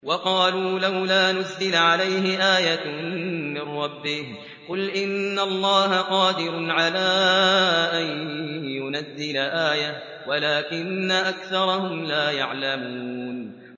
وَقَالُوا لَوْلَا نُزِّلَ عَلَيْهِ آيَةٌ مِّن رَّبِّهِ ۚ قُلْ إِنَّ اللَّهَ قَادِرٌ عَلَىٰ أَن يُنَزِّلَ آيَةً وَلَٰكِنَّ أَكْثَرَهُمْ لَا يَعْلَمُونَ